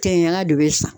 Kɛɲɛla de bɛ sa